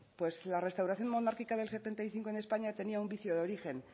pues la restauración monárquica del setenta y cinco en españa tenía un vicio de origen